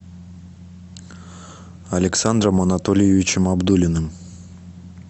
александром анатольевичем абдулиным